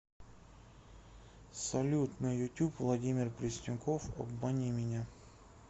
салют на ютюб владимир пресняков обмани меня